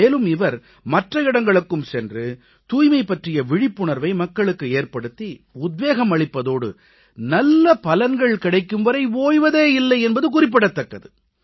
மேலும் இவர் மற்ற இடங்களுக்கும் சென்று தூய்மை பற்றிய விழிப்புணர்வை மக்களுக்கு ஏற்படுத்தி உத்வேகம் அளிப்பதோடு நல்ல பலன்கள் கிடைக்கும் வரை ஓய்வதே இல்லை என்பது குறிப்பிடத்தக்கது